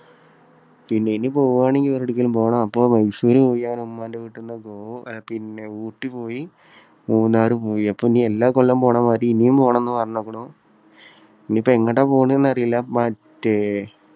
പിന്നെ ഇനി പോവുകയാണെങ്കിൽ വേറെ എവിടെയക്കെങ്കിലും പോണം. അപ്പോൾ മൈസൂര് പോയി ഉമ്മാന്റെ വീട്ടിന്ന് tour . ഊട്ടി പോയി. മൂന്നാർ പോയി. അപ്പോ ഇനി എല്ലാ കൊല്ലവും പോകണ മാതിരി ഇനിയും പോകണമെന്ന് പറഞ്ഞിരിക്കുണു. ഇനി ഇപ്പോ എങ്ങോട്ടാ പോകുന്നതെന്നറിയില്ല. മറ്റേ